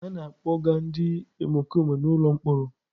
A na-akpọga ndị omekome n'ụlọ mkpọrọ.